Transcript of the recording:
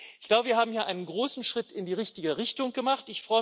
Ich glaube, wir haben hier einen großen Schritt in die richtige Richtung gemacht.